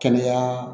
Kɛnɛya